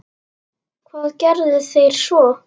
Og hvað gerðuð þér svo?